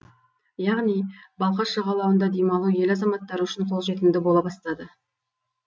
яғни балқаш жағалауында демалу ел азаматтары үшін қолжетімді бола бастады